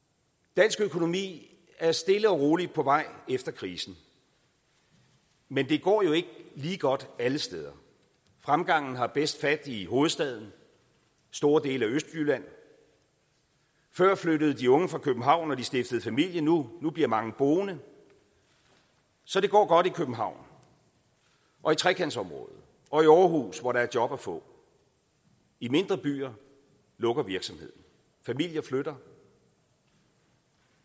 dansk økonomi er stille og roligt på vej efter krisen men det går jo ikke lige godt alle steder fremgangen har bedst fat i hovedstaden og store dele af østjylland før flyttede de unge fra københavn når de stiftede familie nu bliver mange boende så det går godt i københavn og i trekantområdet og i aarhus hvor der er job at få i mindre byer lukker virksomheder familier flytter